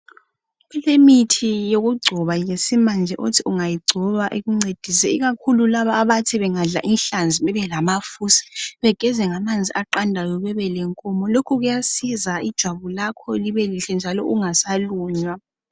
Kulemithi yokugcoba esimanje othi ungayigcoba ikuncedise ikakhulu laba abathi bengadla inhlanzi bebe lamafusi begeze ngamanzi aqandayo bebe lenkomo lokhu kuyasiza ijwabu lakho libe lihle njalo ungasalunywa.